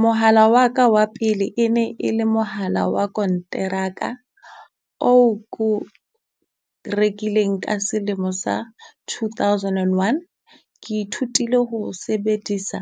Mohala wa ka wa pele e ne e le mohala wa konteraka oo ko o rekileng ka selemo sa two thousand and one. Ke ithutile ho o sebedisa